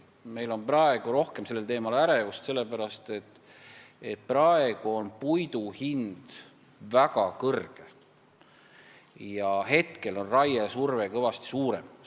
Meil on rohkem sellel teemal ärevust sellepärast, et praegu on puidu hind väga kõrge ja raiesurve on suurem.